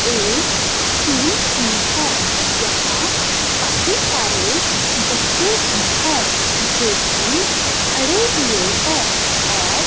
एक स्कूल की है यहां काफी सारे बच्चे भी है जो की खड़े हुए हैं और--